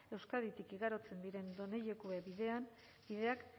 euskaditik igarotzen diren done jakue bideak